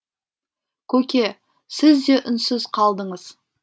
көке сіз де үнсіз қалдыңыз